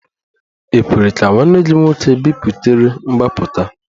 E kwere ka nwanne gị nwoke biputere mgbapụta?